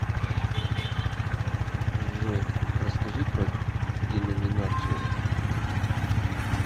джой расскажи про деноминацию